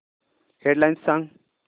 head lines सांग